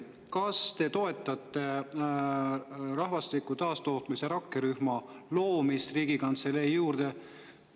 Kas te toetate rahvastiku taastootmise rakkerühma loomist Riigikantselei juurde?